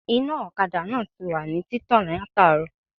Iná òkadà náà tiwà ní títàn látàárò